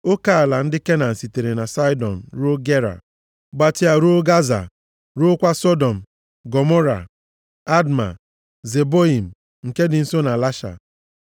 oke ala ndị Kenan sitere na Saịdọn ruo Gera, gbatịa ruo Gaza, ruokwa Sọdọm, Gọmọra, Adma na Zeboiim, nke dị nso Lasha.